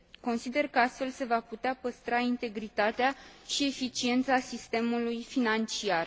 Consider că astfel se va putea păstra integritatea și eficiența sistemului financiar.